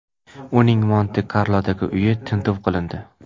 Uning Monte-Karlodagi uyi tintuv qilindi.